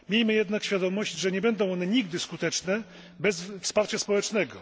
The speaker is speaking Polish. Miejmy jednak świadomość, że nie będą one nigdy skuteczne bez wsparcia społecznego.